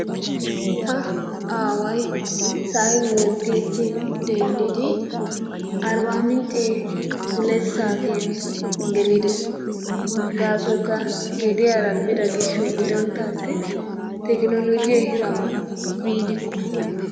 Ta aaway sa'ay wontiichin denddidi arbaamincce huleti saatiyan gelides. Gaasoykka gediyara biido gishshawu gidoppe attin tekinoloojee ehiidoban biidikko.